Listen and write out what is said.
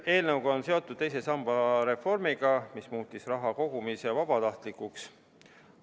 Eelnõu on seotud teise samba reformiga, mis muutis sellesse raha kogumise vabatahtlikuks.